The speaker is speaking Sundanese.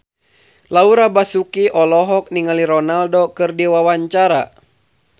Laura Basuki olohok ningali Ronaldo keur diwawancara